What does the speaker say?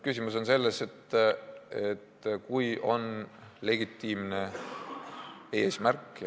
Küsimus on selles, et on legitiimne eesmärk.